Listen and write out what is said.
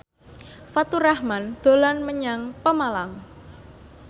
Faturrahman dolan menyang Pemalang